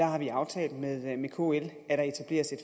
har vi aftalt med kl at der etableres et